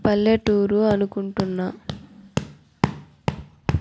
పల్లెటూరు అనుకుంటున్నా.